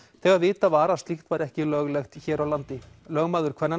þegar vitað var að slíkt væri ekki löglegt hér á landi lögmaður kvennanna